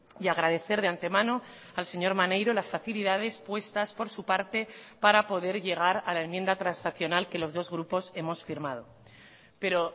y agradecer de antemano al señor maneiro las facilidades puestas por su parte para poder llegar a la enmienda transaccional que los dos grupos hemos firmado pero